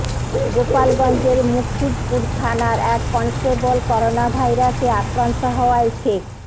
গোপালগঞ্জের মুকসুদপুর থানার এক কনস্টেবল করোনাভাইরাসে আক্রান্ত হওয়ায় সেখ